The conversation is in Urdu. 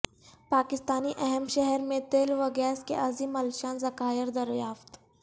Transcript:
پاکستانی اہم شہر میں تیل و گیس کے عظیم الشان ذخائر دریافت